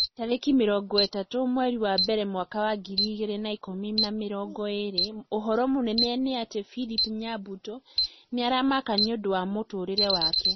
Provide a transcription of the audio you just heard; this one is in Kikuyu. Tarĩki mĩrongo ĩtatũ mweri wa mbere mwaka wa ngiri igĩrĩ na ikũmi namĩrongo ĩrĩ ũhoro mũnene nĩ ati philip nyabuto nĩ aramaka nĩũndũ wa mũtũrĩre wake